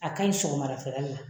A ka ɲi sɔgɔma dafɛla de la.